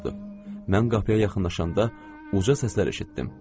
Mən qapıya yaxınlaşanda uca səslər eşitdim.